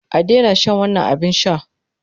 A daina shan wannan abin sha!